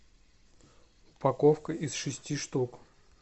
упаковка из шести штук